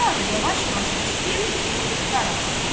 Hava da yavaş-yavaş istəyirdi ki, qaralsın.